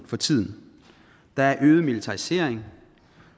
for tiden der er øget militarisering